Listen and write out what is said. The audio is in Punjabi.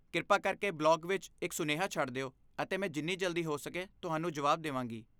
ਕਿਰਪਾ ਕਰਕੇ ਬਲੌਗ ਵਿੱਚ ਇੱਕ ਸੁਨੇਹਾ ਛੱਡ ਦਿਓ ਅਤੇ ਮੈਂ ਜਿੰਨੀ ਜਲਦੀ ਹੋ ਸਕੇ ਤੁਹਾਨੂੰ ਜਵਾਬ ਦੇਵਾਂਗੀ।